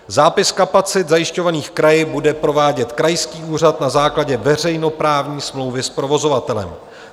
Zápis kapacit zajišťovaných kraji bude provádět krajský úřad na základě veřejnoprávní smlouvy s provozovatelem.